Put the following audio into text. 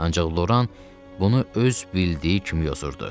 Ancaq Loran bunu öz bildiyi kimi yozurdu.